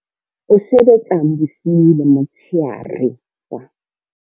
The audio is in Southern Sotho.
O sebetsang bosiu le motshehare wa.